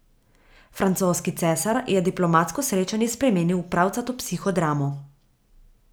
Francoski cesar je diplomatsko srečanje spremenil v pravcato psihodramo.